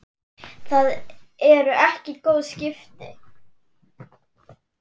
Það eru ekki góð skipti.